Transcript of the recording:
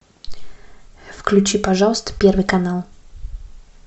включи пожалуйста первый канал